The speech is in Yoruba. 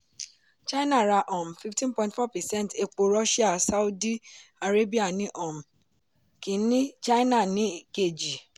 china ra um fifteen point four percent epo russia sáúdí arábíà ni um kìíní china ni kejì.